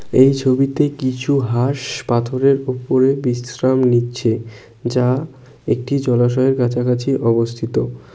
এই ছবিতে কিছু হাঁস পাথরের ওপরে বিশ্রাম নিচ্ছে যা একটি জলাশয়ের কাছাকাছি অবস্থিত ।